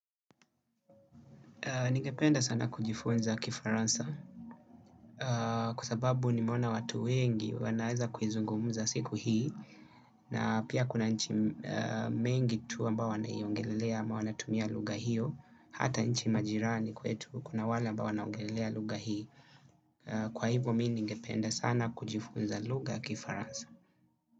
Ningependa sana kujifunza kifaransa. Kwa sababu nimeona watu wengi wanaweza kuizungumza siku hii. Na pia kuna nchi mengi tu ambayo wanaiongelelea ama wanatumia lugha hiyo. Hata nchi majirani kwetu kuna wale ambao wanaongelelea lugha hii. Kwa hivyo mimi ningependa sana kujifunza lugha ya kifaransa.